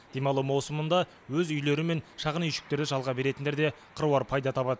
демалу маусымында өз үйлері мен шағын үйшіктерді жалға беретіндер де қыруар пайда табады